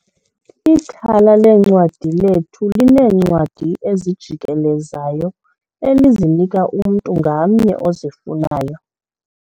Ithala leencwadi lethu lineencwadi ezijikelezayo elizinika umntu ngamnye ozifunayo.